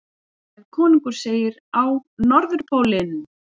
Ef konungur segir: Á Norðurpólinn!